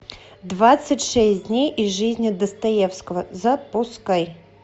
двадцать шесть дней из жизни достоевского запускай